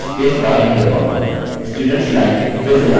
students line फिर से लाल हो गयी है